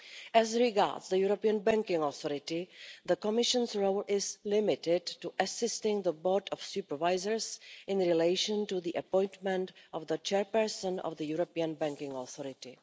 As regards the European Banking Authority, the Commission's role is limited to assisting the Board of Supervisors in relation to the appointment of the chairperson of the European Banking Authority.